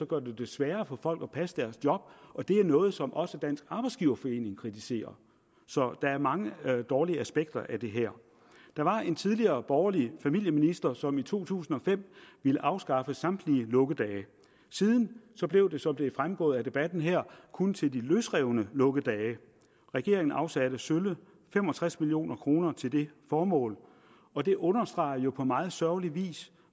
gør det det sværere for folk at passe deres job og det er noget som også dansk arbejdsgiverforening kritiserer så der er mange dårlige aspekter af det her der var en tidligere borgerlig familieminister som i to tusind og fem ville afskaffe samtlige lukkedage siden blev det som det er fremgået af debatten her kun til de løsrevne lukkedage regeringen afsatte sølle fem og tres million kroner til det formål og det understreger jo på meget sørgelig vis